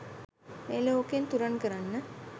මේ ලෝකෙන් තුරන් කරන්න